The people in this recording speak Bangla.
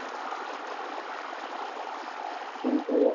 কিন্তু